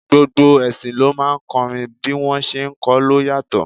Gbogbo ẹṣin ló máa ń kọrin, bí wọ́n ṣé ń kọ ló yàtọ̀.